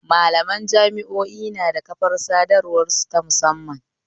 Malaman jami'o'i nada kafar sadawar su ta musamman